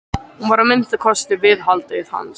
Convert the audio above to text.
Hún var að minnsta kosti viðhaldið hans.